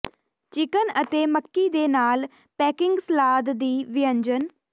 chicken ਅਤੇ ਮੱਕੀ ਦੇ ਨਾਲ ਪੇਕਿੰਗ ਸਲਾਦ ਦੀ ਵਿਅੰਜਨ